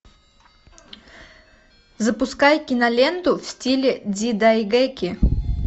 запускай киноленту в стиле дзидайгэки